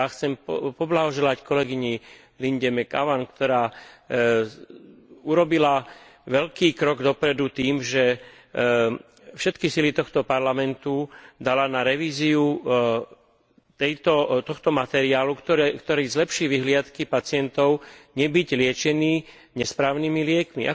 Chcem poblahoželať kolegyni Linde McAvan, ktorá urobila veľký krok dopredu tým, že všetky sily tohto Parlamentu dala na revíziu tohto materiálu, ktorý zlepší vyhliadky pacientov nebyť liečený nesprávnymi liekmi.